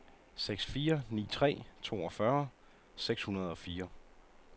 seks fire ni tre toogfyrre seks hundrede og fire